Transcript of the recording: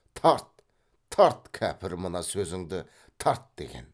тарт тарт кәпір мына сөзіңді тарт деген